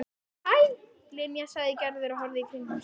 Hæ, Linja sagði Gerður og horfði í kringum sig.